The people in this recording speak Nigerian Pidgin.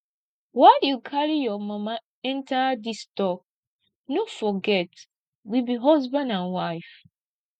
why you carry your mama enter dis talk no forget we be husband and wife